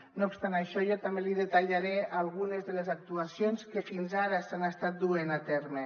no obstant això jo també li detallaré algunes de les actuacions que fins ara s’han estat duent a terme